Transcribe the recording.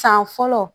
San fɔlɔ